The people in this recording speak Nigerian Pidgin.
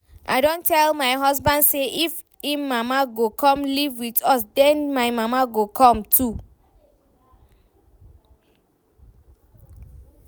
I don tell my husband say if im mama go come live with us den my mama go come too